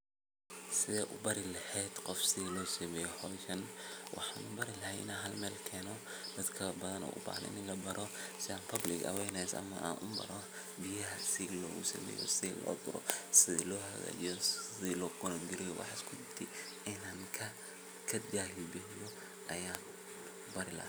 Side u barilehed qof sithi losameyo bahashan ,wxa u bari lahay inan halmelkeno dadbadan o u bahan in labaro in public aweaness ama an u baro biyaha sithilosameyo, sithiloduru, sithilohagajiyo, sidilaconecgaryo wxas kudi inan kajahil bixiyo ayan bari laha.